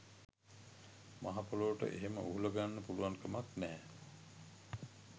මහා පොළොවට එහෙම උහුලගන්න පුළුවන්කමක් නැහැ.